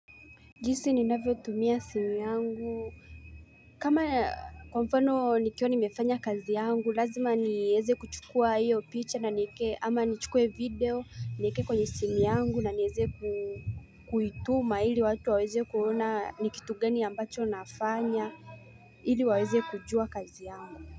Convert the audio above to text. Jinsi ninavyo tumia simu yangu kama kwa mfano nikiwa nimefanya kazi yangu lazima nieze kuchukua iyo picha na niekee ama nichukue video niekee kwenye simu yangu na nieze kuituma ili watu waweze kuona ni kitu gani ambacho nafanya ili waweze kujua kazi yangu.